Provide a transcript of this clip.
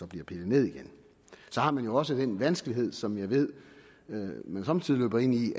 bliver pillet ned igen så har man jo også den vanskelighed som jeg ved at man somme tider løber ind i